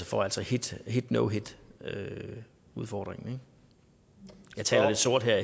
for altså hit hit no hit udfordringen jeg taler lidt sort her